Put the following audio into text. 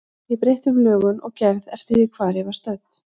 Ég breytti um lögun og gerð eftir því hvar ég var stödd.